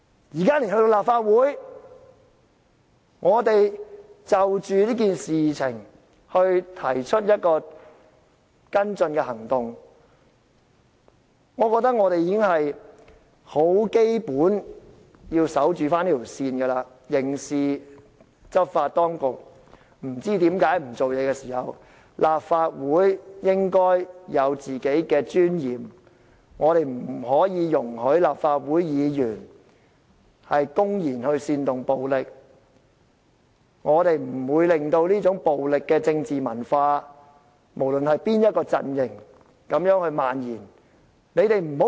現在立法會就這件事情提出一個跟進行動，我覺得議員基本要堅守這條界線，當刑事執法當局不知為何不處理的時候，立法會應該有自己的尊嚴，不可以容許立法會議員公然煽動暴力，不可以令到這種暴力的政治文化無論在哪個陣營漫延下去。